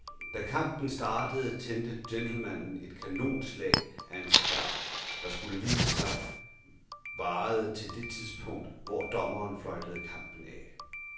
Da kampen startede tændte gentlemanen et kanonslag af en cigar, der, skulle det vise sig, varede til det tidspunkt, hvor dommeren fløjtede kampen af.